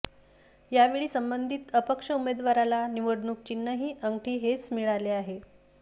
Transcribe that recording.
यावेळी संबंधित अपक्ष उमेदवाराला निवडणूक चिन्हही अंगठी हेच मिळाले आहे